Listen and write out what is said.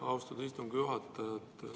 Austatud istungi juhataja!